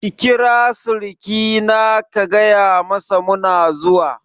Ki kira sirikina ka gayamasa muna zuwa!